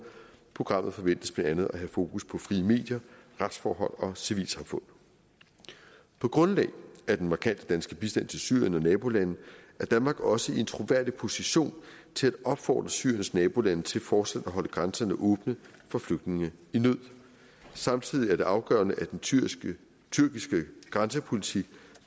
programmet forventes blandt andet at have fokus på frie medier retsforhold og civilsamfund på grundlag af den markante danske bistand til syrien og nabolande er danmark også i en troværdig position til at opfordre syriens nabolande til fortsat at holde grænserne åbne for flygtninge i nød samtidig er det afgørende at den tyrkiske tyrkiske grænsepolitik